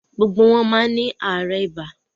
Gbogbo wọn má ni aarẹ ìbá.